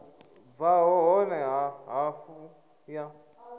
bvaho hone ha hafu ya